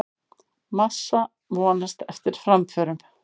Massa vonast eftir framförum